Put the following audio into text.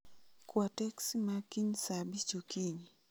Kwa teksi ma kiny saa abich okinyi